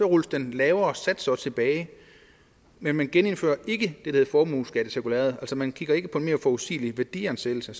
rulles den lavere sats også tilbage men man genindfører ikke hedder formueskattecirkulæret altså man kigger ikke på en mere forudsigelig værdiansættelse